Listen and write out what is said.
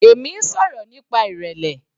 Èmi ń sọ̀rọ̀ nípa ìrẹlẹ.